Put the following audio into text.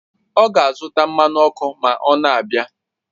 Ọ ga-azụta mmanụ ọkụ ma ọ na-abịa